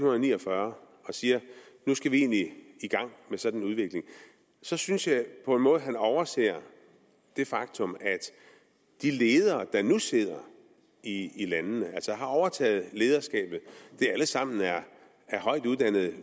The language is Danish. ni og fyrre og siger at nu skal vi egentlig i gang med en sådan udvikling synes synes jeg på en måde han overser det faktum at de ledere der nu sidder i landene altså har overtaget lederskabet alle sammen er højt uddannede